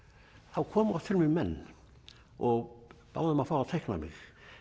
þá komu oft til mín menn og báðu um að fá að teikna mig